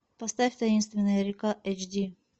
поставь таинственная река эйч ди